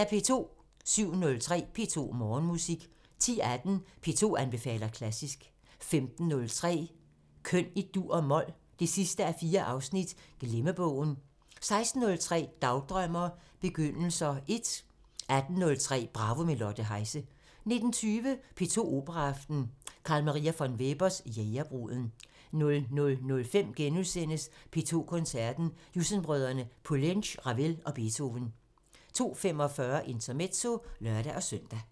07:03: P2 Morgenmusik 10:18: P2 anbefaler klassisk 15:03: Køn i dur og mol – 4:4 Glemmebogen 16:03: Dagdrømmer: Begyndelser 1 18:03: Bravo – med Lotte Heise 19:20: P2 Operaaften – C.M. von Weber: Jægerbruden 00:05: P2 Koncerten – Jussen-brødrene, Poulenc, Ravel og Beethoven * 02:45: Intermezzo (lør-søn)